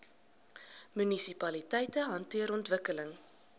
munisipaliteite hanteer ontwikkeling